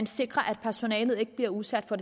sikrer at personalet ikke bliver udsat for